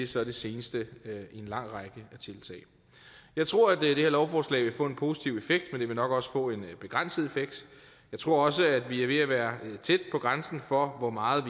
så det seneste i en lang række tiltag jeg tror at det her lovforslag vil få en positiv effekt men det vil nok også få en begrænset effekt jeg tror også at vi er ved at være tæt på grænsen for hvor meget